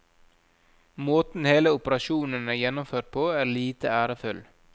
Måten hele operasjonen er gjennomført på er lite ærefull.